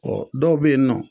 dɔw be yen nɔ